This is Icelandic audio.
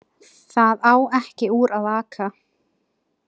Það á ekki úr að aka